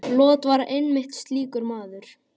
Lot var einmitt slíkur maður.